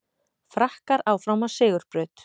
Frakkar áfram á sigurbraut